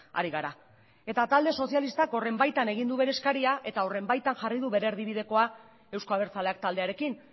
ari gara eta talde sozialistak horren baitan egin du bere eskaria eta horren baitan jarri du bere erdibidekoa euzko abertzaleak taldearekin